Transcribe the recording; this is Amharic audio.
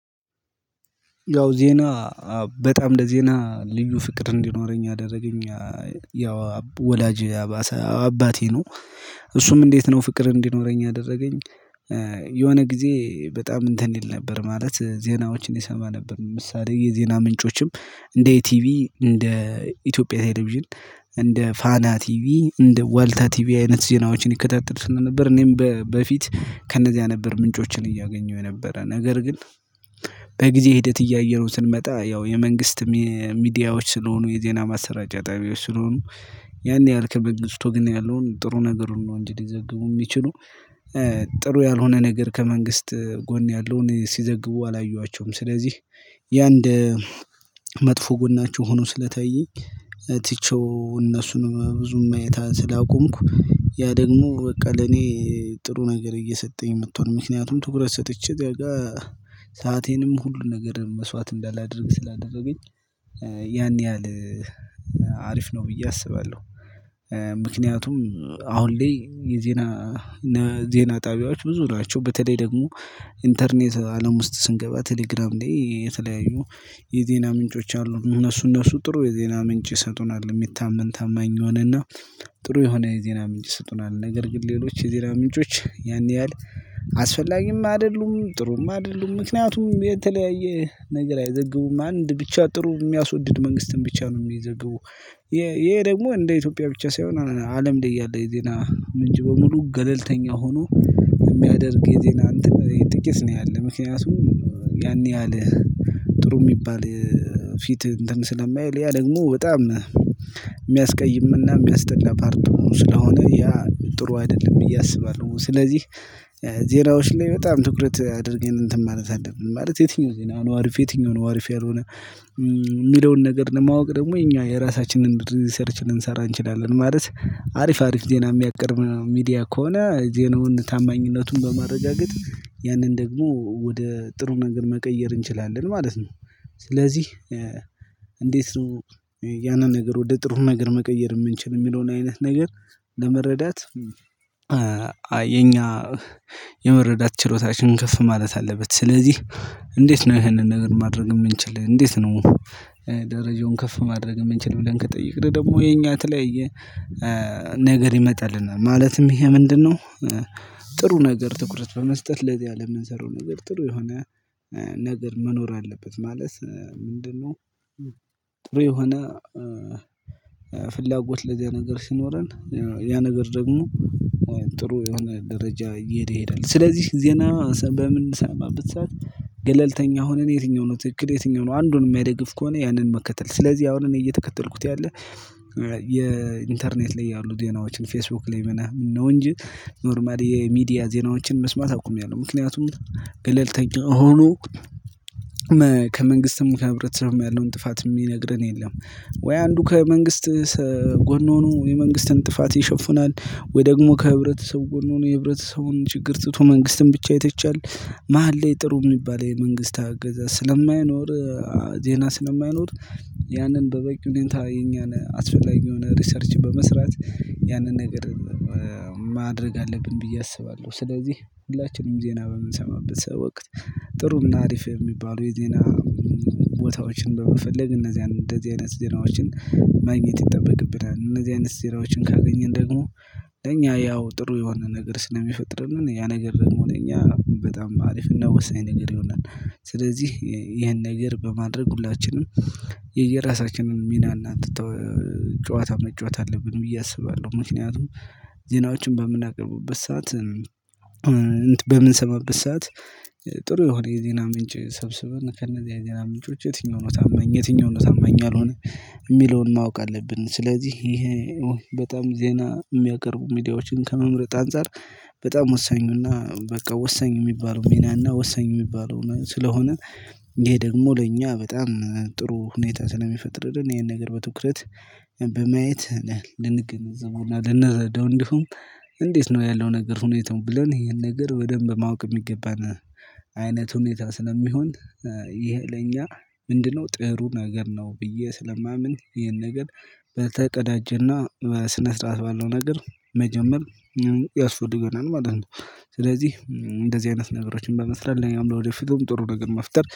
ያው ዜና በጣም ለዜና ልዩ ፍቅር እንዲኖረኝ ያደረገኝ ያው ወላጅ አባሰ አባቴ ነው። እሱም እንዴት ነው ፍቅር እንዲኖረኝ ያደረገኝ የሆነ ጊዜ በጣም እንትን ይል ነበር ማለት ዜናዎችን ይሰማ ነበር፤ ምሳሌ የዜና ምንጮችም እንደ ኢቲቪ እንደ ኢትዮጵያ ቴሌቪዥን እንደ ፋና ቲቪ እንደ ወልታ ቲቪ አይነት ዜናዎችን ይከታተል ስለነበር እኔም በ በፊት ከነዚያ ነበር ምንጮችን እያገኘሁ የነበረ፤ ነገር ግን በጊዜ ሂደት እያየነው ስንመጣ ያው የመንግስት ሚ ሚዲያዎች ስለሆኑ የዜና ማሰራጫ ጣቢያዎች ስለሆኑ ያን ያህል ከመንግስቱ ወገን ያለውን ጥሩ ነገሩን ነው እንጂ ሊዘግቡ የሚችሉ ጥሩ ያልሆነ ነገር ከመንግስት ጎን ያለውን ሲዘግቡ አላየዋቸውም። ስለዚህ የአንድ መጥፎ ጎናቸው ሆኖ ስለታየኝ ትቼው እነሱንም ብዙም ማየት ስላቆምኩ ያ ደግሞ በቃ ለኔ ጥሩ ነገር እየሰጠኝ መቷል ምክንያቱም ትኩረት ሰጥቼ ጋር ሰአቴንም ሁሉ ነገር መስዋዕት እንዳላደርግ ስላደረገኝ ያን ያህል አሪፍ ነው ብዬ አስባለሁ። ምክንያቱም አሁን ላይ የዜና ዜና ጣቢያዎች ብዙ ናቸው በተለይ ደግሞ ኢንተርኔት አለም ውስጥ ስንገባ ቴሌግራም ላይ የተለያዩ የዜና ምንጮች አሉ እነሱ እነሱ ጥሩ የዜና ምንጭ ይሰጡናል የሚታመን ታማኝ የሆነና ጥሩ የሆነ የዜና ምንጭ ይሰጡናል፤ ነገር ግን ሌሎች የዜና ምንጮች ያን ያህል አስፈላጊም አይደሉም፣ ጥሩም አይደሉም ምክንያቱም የተለያየ ነገር አይዘግቡም አንድ ብቻ ጥሩ የሚያስወድድ መንግስትን ብቻ ነው የሚዘግቡ ይሄ ደግሞ እንደ ኢትዮጵያ ብቻ ሳይሆን አለም ላይ ያለ የዜና ምንጭ በሙሉ ገለልተኛ ሆኖ የሚያደርግ የዜና እንትን ይሄ ጥቂት ነው ያለው፤ ምክንያቱም ያን ያህል ጥሩ የሚባል ፊት እንትን ስለማይል ያ ደግሞ በጣም የሚያስቀይም እና የሚያስጠላ ፓርቱ ስለሆነ ያ ጥሩ አይደለም ብዬ አስባለሁ ስለዚህ ዜናዎች ላይ በጣም ትኩረት አድርገን እንትን ማለት አለብን። ማለት የትኛው ዜና ነው አሪፍ የትኛው ነው አሪፍ ያልሆነ። የሚለውን ነገር ለማወቅ ደግሞ የኛ የራሳችንን ሪሰርች ልንሰራ እንችላለን ማለት አሪፍ አሪፍ ዜና የሚያቀርብ ሚዲያ ከሆነ ዜናውን ታማኝነቱን በማረጋገጥ ያንን ደግሞ ወደ ጥሩ ነገር መቀየር እንችላለን ማለት ነው። ስለዚህ እንዴት ነው ያንን ነገር ወደ ጥሩ ነገር መቀየር የምንችል የሚለውን አይነት ነገር ለመረዳት የመረዳት ችሎታችንን ከፍ ማለት አለበት፤ ስለዚህ እንዴት ነው ይሄንን ነገር ማድረግ የምንችል እንዴት ነው ደረጃውን ከፍ ማድረግ የምንችል ብለን ከተጠየቅን ደግሞ የኛ የተለያየ ነገር ይመጣልናል። ማለትም ይሄ ምንድነው ጥሩ ነገር ትኩረት በመስጠት ለዚያ ለምንሰራው ነገር ጥሩ የሆነ ነገር መኖር አለበት። ማለት ምንድነው ጥሩ የሆነ ፍላጎት ለዚያ ነገር ሲኖረን ያ ነገር ደግሞ ጥሩ የሆነ ደረጃ እየሄደ ይሄዳል። ስለዚህ ዜና በምንሰማበት ሰዓት ገለልተኛ ሆነን የትኛው ነው ትክክል የትኛው ነው አንዱን የማይደግፍ ከሆነ ያንን መከተል ስለዚህ አሁን እኔ እየተከተልኩት ያለ የኢንተርኔት ላይ ያሉ ዜናዎችን ፌስቡክ ላይ ምናምን ነው እንጂ ኖርማል የሚዲያ ዜናዎችን መስማት አቁሚያለሁ፤ ምክንያቱም ገለልተኛ ሆኖ ከመንግስትም ከህብረተሰብም ያለውን ጥፋት የሚነግረን የለም። ወይ አንዱ ከመንግስት ጎን ሆኖ የመንግስትን ጥፋት ይሸፍናል፤ ወይ ደግሞ ከህብረተሰቡ ጎን ሆኖ የህብረተሰቡን ችግር ትቶ መንግስትን ብቻ ይተቻለ፤ መሃል ላይ ጥሩ የሚባል የመንግስት አገዛዝ ስለማይኖር ዜና ስለማይኖር ያንን በበቂ ሁኔታ የኛን አስፈላጊ የሆነ ሪሰርች በመስራት ያንን ነገር ማድረግ አለብን ብዬ አስባለሁ። ስለዚህ ሁላችንም ዜና በምንሰማበት ሰው ወቅት ጥሩ እና አሪፍ የሚባሉ የዜና ቦታዎችን በመፈለግ እነዚያን እንደዚህ አይነት ዜናዎችን ማግኘት ይጠበቅብናል። እነዚህ አይነት ዜናዎችን ካገኘን ደግሞ እኛ ያው ጥሩ የሆነ ነገር ስለሚፈጥርልን ያ ነገር ደግሞ ለኛ በጣም አሪፍ እና ወሳኝ ነገር ይሆናል። ስለዚህ ይሄን ነገር በማድረግ ሁላችንም የየራሳችንን ሚና እና ትተ ጨዋታ መጫወት አለብን ብዬ አስባለሁ። ምክንያቱም ዜናዎቹን በምናቀርብበት ሰዓት፣ በምንሰማበት ሰዓት ጥሩ የሆነ የዜና ምንጭ ሰብስበን ከነዛ የዜና ምንጮች የትኛው ነው ታመኝ የትኛው ነው ታመኝ ያልሆነ የሚለውን ማወቅ አለብን። ስለዚህ ይሄ በጣም ዜና የሚያቀርቡ ሚዲያዎችን ከመምረጥ አንፃር በጣም ወሳኙና በቃ ወሳኝ የሚባለው ሚናና ወሳኝ የሚባለው ስለሆነ ይሄ ደግሞ ለእኛ በጣም ጥሩ ሁኔታ ስለሚፈጥርልን ይሄን ነገር በትኩረት በማየት ልንገነዘበውና ልንራደው እንዲሁም እንዴት ነው ያለው ነገር ሁኔታው ብለን ይሄን ነገር በደንብ ማወቅ የሚገባን አይነት ሁኔታ ስለሚሆን "ይሄ ለኛ ምንድነው?" ጥሩ ነገር ነው ብዬ ስለማምን ይሄን ነገር በተቀዳጀና በስነ ስርዓት ባለው ነገር መጀመር ያስፈልገናል ማለት ነው። ስለዚህ እንደዚህ አይነት ነገሮችን በመስራት ለኛም ለወደፊቱም ጥሩ ነገር መፍጠር